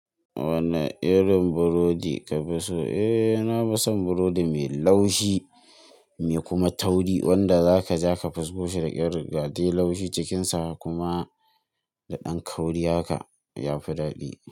Wanne irin burodi ka fi so? Eh, na fi son burodi mai laushi, mai kuma tauri wanda zaka ja ka fusgo shi daƙya rgade laushi cikinsa kuma da ɗan kauri haka yafi dadi.